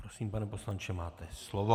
Prosím, pane poslanče, máte slovo.